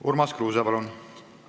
Urmas Kruuse, palun!